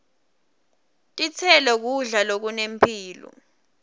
titselo kudla lokunemphilo